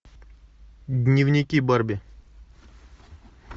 дневники барби